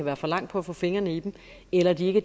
er for lang for at få fingrene i dem eller at det ikke